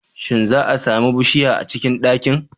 Shin za'a sami bushiya a cikin ɗakin?